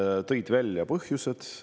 Nad tõid välja põhjused.